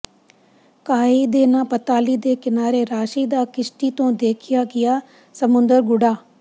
ਕਾਏਈ ਦੇ ਨਾ ਪਤਾਲੀ ਦੇ ਕਿਨਾਰੇ ਰਾਸ਼ੀ ਦਾ ਕਿਸ਼ਤੀ ਤੋਂ ਦੇਖਿਆ ਗਿਆ ਸਮੁੰਦਰ ਗੁਫਾ